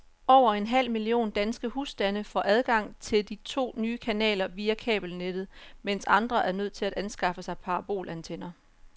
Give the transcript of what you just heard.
Over en halv million danske husstande får adgang til de to nye kanaler via kabelnettet, mens andre er nødt til at anskaffe sig parabolantenner.